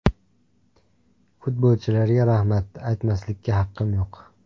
Futbolchilarga rahmat aytmaslikka haqqim yo‘q.